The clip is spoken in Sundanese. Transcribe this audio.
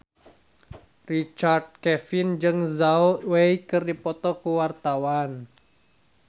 Richard Kevin jeung Zhao Wei keur dipoto ku wartawan